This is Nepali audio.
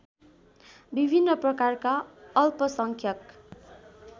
विभिन्न प्रकारका अल्पसंख्यक